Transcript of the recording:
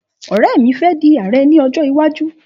Ọ̀rẹ́ mi fe di ààrẹ ni ọjọ́ iwájú